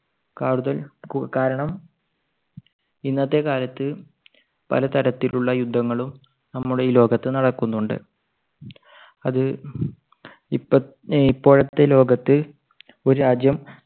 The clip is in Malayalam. കാരണം~കാരണം ഇന്നത്തെ കാലത്ത് പലതരത്തിലുള്ള യുദ്ധങ്ങളും നമ്മുടെ ഈ ലോകത്ത് നടക്കുന്നുണ്ട്. അത് ഇപ്പ~ഇപ്പോഴത്തെ ലോകത്ത് ഒരു രാജ്യം